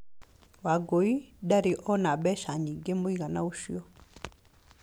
Wangũi ndarĩ ona mbeca nyingĩ mũigana ũcio.